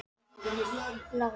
Lára: Já og er mikið rok?